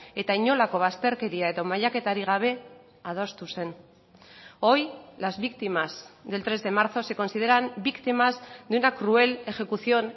eta inolako bazterkeria eta mailaketarik gabe adostu zen hoy las víctimas del tres de marzo se consideran víctimas de una cruel ejecución